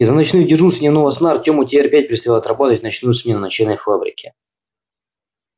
из-за ночных дежурств и дневного сна артему теперь опять предстояло отрабатывать в ночную смену на чайной фабрике